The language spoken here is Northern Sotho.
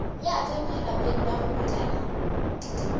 ya tsema lapeng la bongwanana